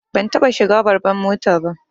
Ban taɓa shiga babbar mota ba